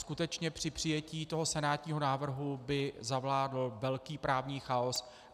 Skutečně při přijetí toho senátního návrhu by zavládl velký právní chaos.